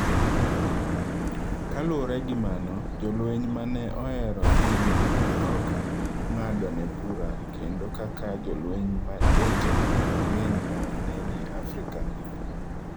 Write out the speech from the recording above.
Kaluwore gi mano, jolweny ma ne ohero pinygi ne ok ng’adone bura kendo kaka jolweny wetene mang’eny ma ne ni Afrika.